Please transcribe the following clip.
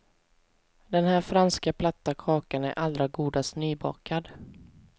Den här franska platta kakan är allra godast nybakad.